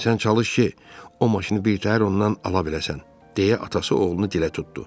Sən çalış ki, o maşını birtəhər ondan ala biləsən, deyə atası oğlunu dilə tutdu.